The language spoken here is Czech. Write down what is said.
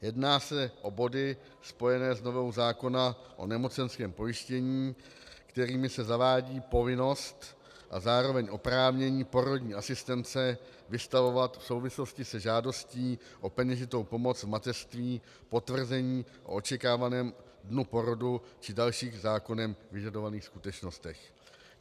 Jedná se o body spojené s novelou zákona o nemocenském pojištění, kterými se zavádí povinnost a zároveň oprávnění porodní asistentce vystavovat v souvislosti se žádostí o peněžitou pomoc v mateřství potvrzení o očekávaném dnu porodu či dalších zákonem vyžadovaných skutečnostech.